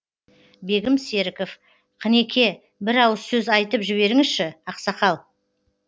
бегім серіков қынеке бір ауыз сөз айтып жіберіңізші ақсақал